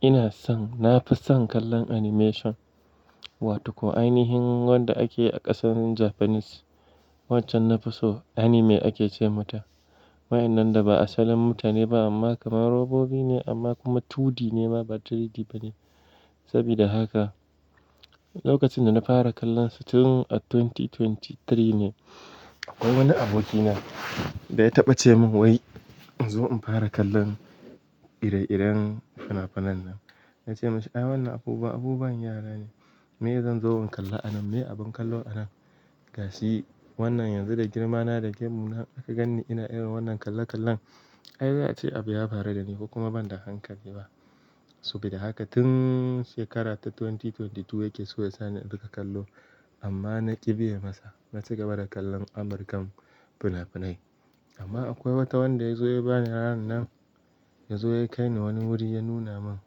Ina son, na fi son kallon animation wato ko ainihin wanda ake yi a ƙasar Japanese. Waccan nafi so anime ake ce mata. Wa inda da ba asalin mutane ba amma kamar robobi ne amma kuma 2D ne ba 3D ba ne. Saboda haka lokacin da na fara kallonsa tun a dubu biyu da ashirin da uku ne. Akwai wani abokina da ya taɓa ce min wai in zo in fara kallon ire-iren fina-finan nan. Na ce masa "A'a wannan abubuwan, abubuwan yara ne. Me zan zo in kalla a nan? Me abun kallo a nan?" Ga shi wannan yanzu da girmana da gemuna aka gan ni ina irin wannan kalla-kallon. Ai za'a ce abu ya faru da ni ko kuma ban da hankali ba. Saboda haka tun shekara ta dubu biyu da ashirin da biyu yake so ya sa ni in dinga kallo amma na ƙi biye masa. Na ci gaba da kallon amurkan fina-finai. Amma akwai wata wanda ya zo ya ba ni ranar nan, ya zo ya kai ni wani wuri ya nuna min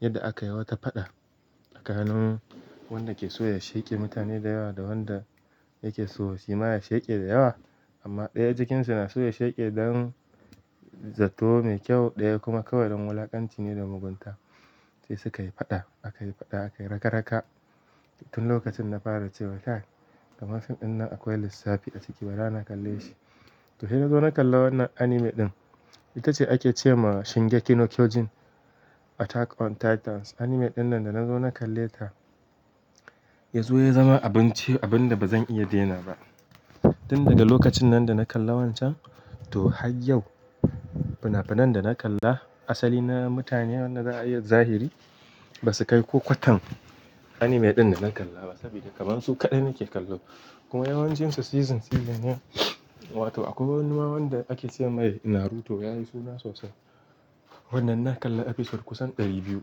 yadda aka yi wata faɗa a tsakanin wanda ke so ya sheƙe mutane da yawa da wanda yake so shima ya sheƙe da yawa. Amma ɗaya jikinsa na so ya sheƙe don zato mai kyau ɗaya kuma kawai don wulakanci ne da mugunta. Sai sukai yi faɗa, aka yi faɗa, aka yi raga-raga. Tun lokacin na fara cewa kai, kamar fim ɗin nan akwai lissafi a ciki bara kalle shi. To sai na zo na kalli wannan anime ɗin. Ita ce ake ce ma Shingeki no Kyojin, Attack on Titans. Anime ɗin nan da na zo na kalle ta, ya zo ya zama abun ce, abun da ba zan iya denawa ba. Tun daga lokacin nan da na kalla wancan to har yau fina-finan da na kalla asali na mutane wanda zahiri ba su kai ko kwatan anime ɗin da na kalla ba saboda kamar su kaɗai nake kallo. Kuma yawancin su season, season ne. Wato akwai wani ma wanda ake ce mai Naruto yayi suna sosai. Wannan na kalla episode kusan ɗari biyu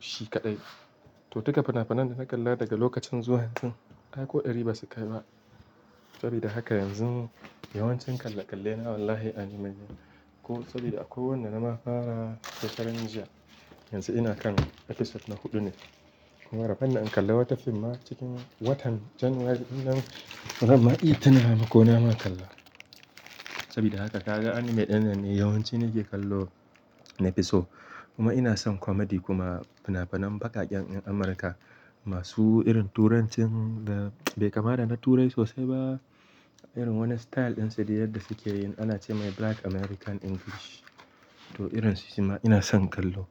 shi kaɗai. To duka fina-finan da na kalla daga lokacin zuwa yanzu ai ko ɗari ba su kai ba. Saboda haka yanzu yawancin kalla-kalle na wallahi anime ne. Ko saboda akwai wanda na ma fara shekaran jiya. Yanzu ina kan episode na huɗu ne. Kuma rabon da in kalla wata fim ma cikin watan January ɗin nan, bazan ma iya tunawa ma ko na ma kalla. Saboda haka ka ga anime ɗin ne yawanci nake kallo nafi so. Kuma ina son comedy kuma fina-finan baƙaƙen 'yan Amurka masu irin turancin da bai kama da na Turai sosai ba. Irin wannan style ɗin su da yadda suke yin ana ce mai Black American English. To irin su shima ina son kallo.